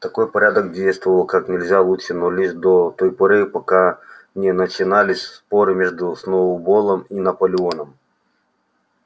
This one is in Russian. такой порядок действовал как нельзя лучше но лишь до той поры пока не начинались споры между сноуболлом и наполеоном